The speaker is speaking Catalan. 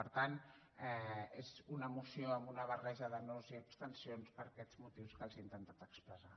per tant és una moció amb una barreja de nos i d’abstencions per aquests motius que els he intentat expressar